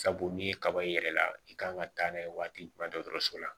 Sabu n'i ye kaba i yɛrɛ la i kan ka taa n'a ye waati mun na dɔgɔtɔrɔso la